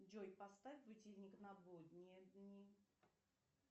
джой поставь будильник на будние дни